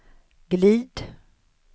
glid